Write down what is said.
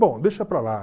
Bom, deixa para lá.